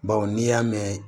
Baw n'i y'a mɛn